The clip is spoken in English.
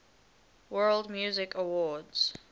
world music awards